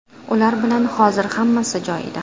Ular bilan hozir hammasi joyida.